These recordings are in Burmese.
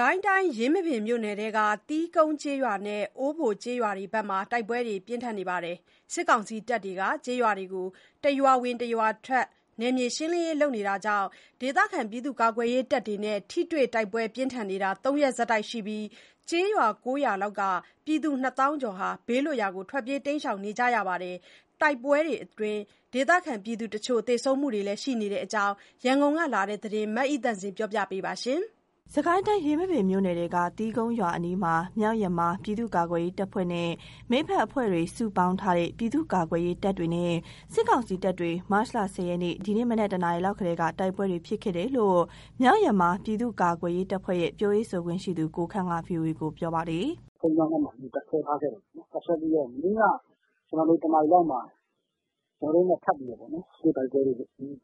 ကိုင်းတိုင်း ယင်းမာပင်မြို့နယ်ထဲက သီးကုန်းကျေးရွာနဲ့ အိုးဘိုကျေးရွာတို့ဘက်မှာ တိုက်ပွဲတွေဖြစ်နေပါတယ်။ စစ်ကောင်စီတပ်တွေက ကျေးရွာတွေကို တရွာဝင် တရွာထွက် နယ်မြေရှင်းလင်းရေး လုပ်တာကြောင့် ဒေသခံ ပြည်သူ့ကာကွယ်ရေးတပ်တွေနဲ့ ထိတွေ့တိုက်ပွဲပြင်းထန်နေတာ ၃ ရက်ဆက်တိုက်ရှိနေပြီး ကျေးရွာ ၉ ရွာလောက်က ပြည်သူ ၂ သောင်းကျော်လောက် ဘေးလွတ်ရာ ထွက်ပြေးပုန်းရှောင်နေကြရပါတယ်။ တိုက်ပွဲတွေအတွင်း ဒေသခံပြည်သူတချို့ သေဆုံးမှုတွေလည်းရှိနေတဲ့အကြောင်း ရန်ကုန်ကလာတဲ့သတင်းကို မအိသန့်စင်က တင်ပြပေးထားပါတယ်။ စစ်ကိုင်းတိုင်း ယင်းမာပင်မြို့နယ်ထဲက သီးကုန်းရွာအနီးမှာ မြောက်ယမား ပြည်သူ့ကာကွယ်ရေးတပ်ဖွဲ့နဲ့ မိတ်ဖက်အဖွဲ့တွေ စုပေါင်းထားနဲ့ ပြည့်သူကာကွယ်ရေးတပ်တွေနဲ့ စစ်ကောင်စီတပ်တွေ မတ်လ ၁၀ ရက် ဒီကနေ့ မနက် ၁ နာရီလောက် ကတည်းက တိုက်ပွဲတွေ ဖြစ်ခဲ့တယ်လို့ မြောက်ယမား ပြည်သူ့ကာကွယ်ရေးတပ်ဖွဲ့ရဲ့ ပြောရေးဆိုခွင့်ရှိသူ ကိုခန့်က VOA ကို ပြောပါတယ်။ “သီးကုန်းရွာက ဘုန်းကြီးကျောင်းမှာ မနေ့က တပ်စွဲထားခဲ့တယ်။ တပ်စွဲထားခဲ့ပြီးတော့ မနေ့ က တနာရီလောက်မှာ ကျနော်တို့နဲ့ ထပ်ပြီးတော့ ထိတွေ့တိုက်ပွဲတွေ ကြီး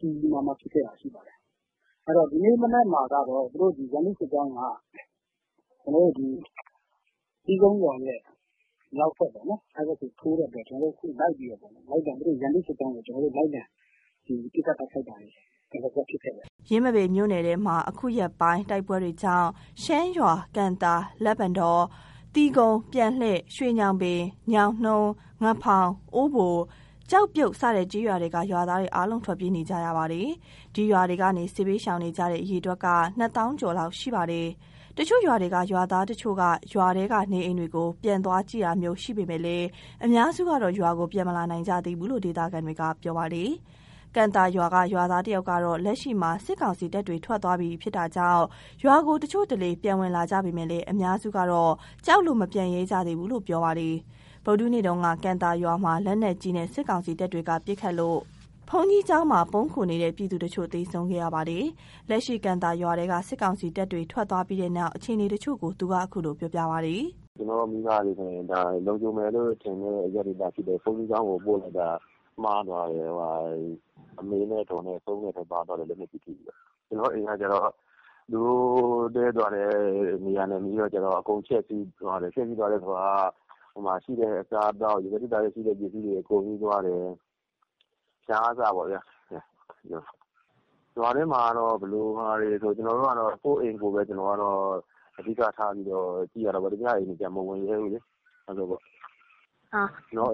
ကြီးမားမားဖြစ်တာရှိခဲ့တယ်။ ဒီကနေ့ မနက်မှာကတော့ ရန်သူစစ်ကြောင်းက သီးကုန်းရွာရဲ့ မြောက်ဘက်ပေါ့နော်။ အဲဒီဘက်ကိုတက်သွားတော့ ခု ကျနော်တို့လိုက်ပြီးတော့ လိုက်လံ ပစ်ခတ်တာတွေ ဒလစပ် ဖြစ်ခဲ့တယ်။” ယင်းမာပင်မြို့နယ်ထဲမှာ အခုရက်ပိုင်းတိုက်ပွဲတွေကြောင့် ရှမ်းရွာ၊ ကံသာ၊ လက်ပံတော၊ သီးကုန်း၊ ပြန်လှည့်၊ ရွှေညောင်ပင်၊ ညောင်နှုန်း၊ ငဖောင်၊ အိုးဘို၊ ကျောက်ပြုတ် စတဲ့ကျေးရွာတွေက ရွာသားတွေအားလုံး ထွက်ပြေးနေကြရတာပါ။ ဒီရွာတွေကနေ စစ်ဘေးရှောင်နေကြတဲ့ အရေအတွက်က ၂ သောင်းကျော်လောက်ရှိပါတယ်။ တချို့ရွာတွေက ရွာသားတချို့က ရွာထဲက နေအိမ်တွေကို ပြန်သွားကြည့်တာမျိုး ရှိပေမယ့် အများစုကတော့ ရွာကိုပြန်မလာနိုင်ကြသေးဘူးလို့ ဒေသခံတွေက ပြောပါတယ်။ ကံသာရွာက ရွာသားတဦးကတော့ လက်ရှိမှာ စစ်ကောင်စီတပ်တွေထွက်သွားပြီမို့ ရွာကို တချို့တလေ ပြန်ဝင်လာကြပေမယ့် အများစုကတော့ ကြောက်လို့ ပြန်မလာရဲကြသေးဘူးလို့ ပြောပါတယ်။ ဗုဒ္ဓဟူးနေ့က ကံသာရွာမှာ လက်နက်ကြီးနဲ့ စစ်ကောင်စီတပ်တွေက ပစ်ခတ်လို့ ဘုန်းကြီးကျောင်းမှာ ပုန်းခိုနေတဲ့ ပြည်သူတချို့ သေဆုံးခဲ့ရပါတယ်။ လက်ရှိ ကံသာရွာထဲက စစ်ကောင်စီတပ်တွေ ထွက်သွားပြီးနောက် အခြေအနေတချို့ကို သူက ခုလိုပြောပါတယ်။ “ကျနော့်မိဘတွေကိုဆိုရင် လုံခြုံမယ်လို့ထင်တဲ့ အရပ်ဒေသဖြစ်တဲ့ ဘုန်းကြီးကျောင်းကို ပို့လိုက်တာ မှားသွားတယ်။ အမေနဲ့အဒေါ်နဲ့ ဆုံးတဲ့ထဲပါသွားတယ်။ လက်နက်ပြီးထိပြီးတော့။ ကျနော့်အိမ်က သူတို့တည်းတဲ့ နေရာနဲ့နီးတော့ အကုန်ဖျက်ဆီးသွားတယ်။ ရှိတဲ့အစားအသောက် ရေခဲသေတ္တာထဲရှိတာတွေ အကုန်ယူသွားတယ်။ ဖျာကအစပေါ့ဗျာ။ ရွာထဲမှာက ဘယ်လိုလဲဆိုတော့ ကျနော်က ကိုယ့်အိမ်ကိုပဲ အဓိကထားကြည့်ရတာပေါ့။ သူများအိမ်ကိုကျ မဝင်ရဲဘူးလေ။ ကျနော်တို့တဲက၊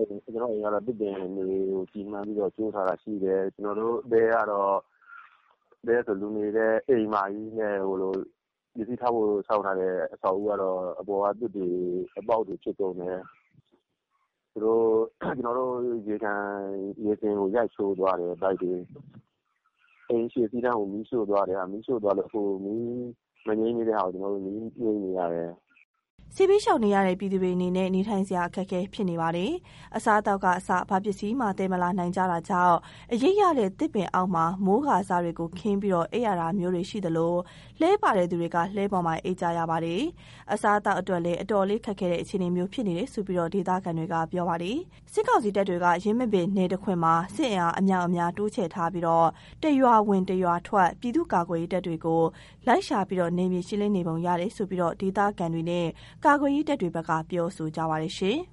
တဲဆိုတာထက် လူနေဖို့ ဆောက်ထားတဲ့ အိမ်မကြီးနဲ့ ပစ္စည်းထားဖို့ ဆောက်ထားတဲ့အဆောက်အဦးကတော့ အပေါ်က သွပ်တွေ အပေါက်တွေဖြစ်ကုန်တယ်။ ရေစင်ကို ရိုက်ချိုးသွားတယ်။ ပိုက်တွေကိုရော။ အိမ်ရှေ့အခန်းကို မီးရှို့သွားတယ်။ မီးရှို့သွားလို့ ခုမီးမငြိမ်းသေးတဲ့ဟာကို မီးငြိမ်းနေရတယ်။” စစ်ဘေးရှောင်နေရတဲ့ ပြည်သူတွေအနေနဲ့ နေထိုင်စရာ အခက်အခဲဖြစ်နေပါတယ်။ အစားအသောက်ကအစ ဘာပစ္စည်းမှသယ်မလာနိုင်ကြတာကြောင့် အရိပ်ရတဲ့ သစ်ပင်အောက်မှာ မိုးကာစတွေကို ခင်းပြီးအိမ်ရတာမျိုးတွေ ရှိသလို လှည်းပါတဲ့သူတွေ က လှည်းပေါ်မှာ အိပ်ကြရပါတယ်။ အစားအသောက်အတွက်လည်း အတော်လေးခက်ခဲတဲ့ အခြေအနေမျိုးဖြစ်နေတယ်လို့ ဒေသခံတွေက ပြောပါတယ်။ စစ်ကောင်စီတပ်တွေက ယင်းမာပင်နယ်တခွင်မှာ စစ်အင်အားအမြောက်အများ တိုးချဲ့ထားပြီး တရွာဝင်တရွာထွက် ပြည်သူ့ကာကွယ်ရေးတပ်တွေကို လိုက်ရှာ နယ်မြေရှင်းလင်းနေပုံရတယ်လို့ ဒေသခံတွေနဲ့ ကာကွယ်ရေးတပ်တွေဘက်က ပြောဆိုကြပါတယ်။